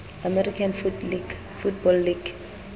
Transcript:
american football league